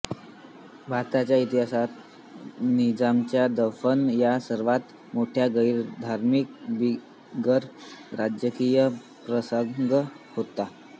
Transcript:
भारताच्या इतिहासात निजामाचे दफन हा सर्वात मोठा गैरधार्मिक बिगर राजकीय प्रसंग होता